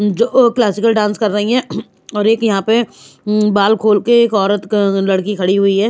जो अह classical dance कर रही है और एक यहाँ पे मम बाल खोल के एक औरत लड़की खड़ी हुई है।